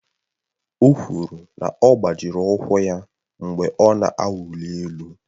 O kwuru na ọ gbajịrị ụkwụ ya mgbe ọ na-awụli elu